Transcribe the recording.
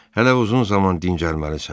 Hələ uzun zaman dincəlməlisən.